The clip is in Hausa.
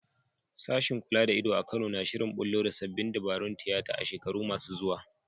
Sashen kula da ido a Kano na shirin bullo da sabbin dabarun tiyata a shekaru masu zuwa.